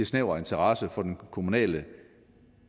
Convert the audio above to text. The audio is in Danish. snæver interesse for den kommunale